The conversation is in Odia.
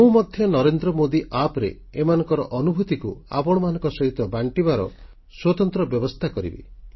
ମୁଁ ମଧ୍ୟ ନରେନ୍ଦ୍ର ମୋଦୀ ଆପ୍ NarendraModiApp ରେ ଏମାନଙ୍କ ଅନୁଭୂତିକୁ ଆପଣମାନଙ୍କ ସହିତ ବାଣ୍ଟିବାର ସ୍ୱତନ୍ତ୍ର ବ୍ୟବସ୍ଥା କରିବି